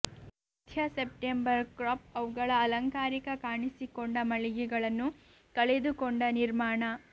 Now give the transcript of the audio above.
ಮಧ್ಯ September crop ಅವುಗಳ ಅಲಂಕಾರಿಕ ಕಾಣಿಸಿಕೊಂಡ ಮಳಿಗೆಗಳನ್ನು ಕಳೆದುಕೊಂಡ ನಿರ್ಮಾಣ